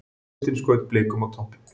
Kristinn skaut Blikum á toppinn